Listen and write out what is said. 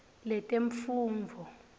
letemfundvo